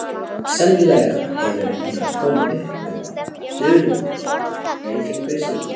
Sennilega hefur hann komið upp um dulda hrifningu sína.